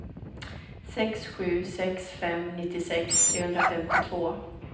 sex sju sex fem nittiosex trehundrafemtiotvå